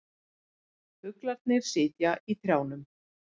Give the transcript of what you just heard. Fuglarnir sitja í trjánum.